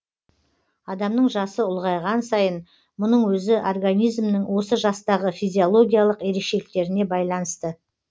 адамның жасы ұлғайған сайын мұның өзі организмнің осы жастағы физиологиялық ерекшеліктеріне байланысты